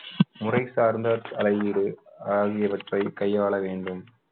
முறை சார்ந்த தலையீடு ஆகியவற்றை கையாள வேண்டும்